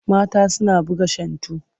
Mata suna buga shantu.